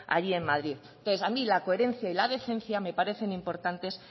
allí en madrid entonces a mí la coherencia y la decencia me parecen importantes